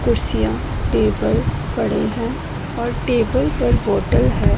कुर्सियां टेबल पड़े हैं और टेबल पर बोटल है।